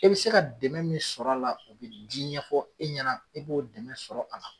E bɛ se ka dɛmɛ min sɔr'a la o bɛ di ɲɛfɔ i ɲɛna, i b'o dɛmɛ sɔrɔ a la.